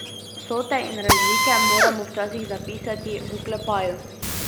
Vsote in razlike moramo včasih zapisati v oklepaju.